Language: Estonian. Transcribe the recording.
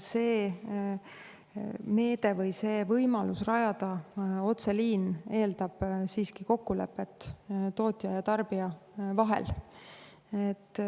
See meede või see võimalus rajada otseliin eeldab siiski kokkulepet tootja ja tarbija vahel.